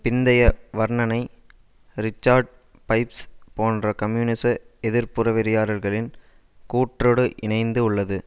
பிந்தைய வர்ணனை Richard Pipes போன்ற கம்யூனிச எதிர்ப்புற வெறியர்களின் கூற்றோடு இயைந்து உள்ளது